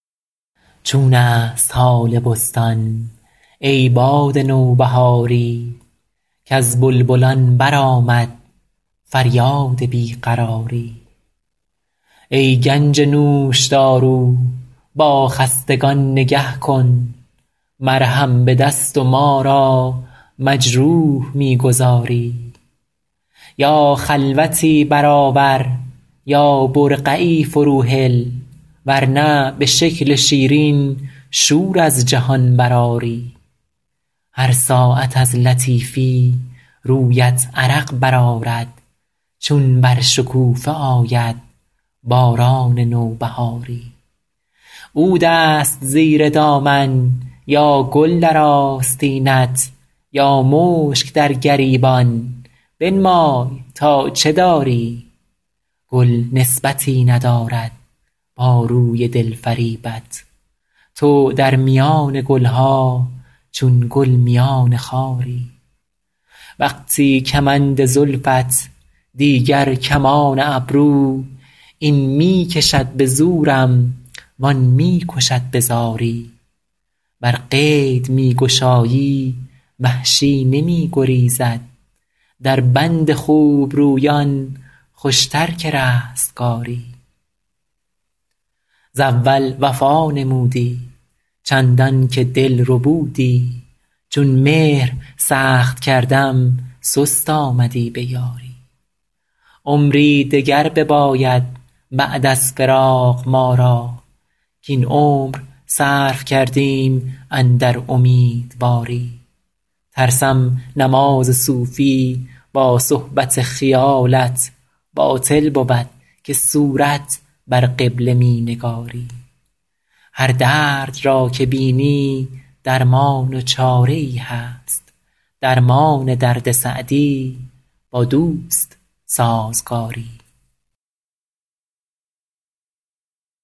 چون است حال بستان ای باد نوبهاری کز بلبلان برآمد فریاد بی قراری ای گنج نوشدارو با خستگان نگه کن مرهم به دست و ما را مجروح می گذاری یا خلوتی برآور یا برقعی فروهل ور نه به شکل شیرین شور از جهان برآری هر ساعت از لطیفی رویت عرق برآرد چون بر شکوفه آید باران نوبهاری عود است زیر دامن یا گل در آستینت یا مشک در گریبان بنمای تا چه داری گل نسبتی ندارد با روی دل فریبت تو در میان گل ها چون گل میان خاری وقتی کمند زلفت دیگر کمان ابرو این می کشد به زورم وآن می کشد به زاری ور قید می گشایی وحشی نمی گریزد در بند خوبرویان خوشتر که رستگاری ز اول وفا نمودی چندان که دل ربودی چون مهر سخت کردم سست آمدی به یاری عمری دگر بباید بعد از فراق ما را کاین عمر صرف کردیم اندر امیدواری ترسم نماز صوفی با صحبت خیالت باطل بود که صورت بر قبله می نگاری هر درد را که بینی درمان و چاره ای هست درمان درد سعدی با دوست سازگاری